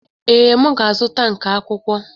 Ee, m ga-azụta nka akwụkwọ.